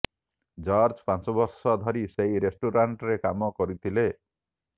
George ପାଞ୍ଚ ବର୍ଷ ଧରି ସେହି ରେଷ୍ଟୁରାଣ୍ଟରେ କାମ କରିଥିଲେ